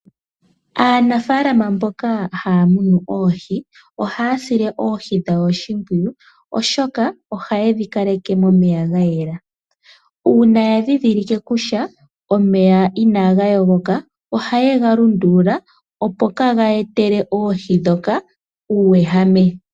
Aanafalama mboka haya longo noohi, oha yasile oohi dhawo oshimpwiyu, oshoka oha yedhi kaleke momeya gayela. Uuna ya ndhindhilike kutya omeya inaga yogoka, oha yegalundula opo kaageetela oohi ndhoka uuwehame.